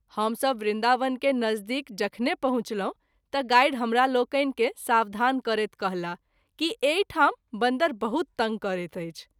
हम सभ वृन्दावन के नज़दीक जखने पहुँचलहुँ त’ गाइड हमरालोकनि के सावधान करैत कहलाह कि एहि ठाम बन्दर बहुत तंग करैत अछि।